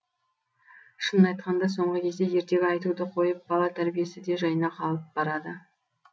шынын айтқанда соңғы кезде ертегі айтуды қойып бала тәрбиесі де жайына қалып барады